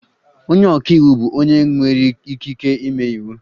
Onye ọka iwu bụ onye nwere ikike ịme iwu.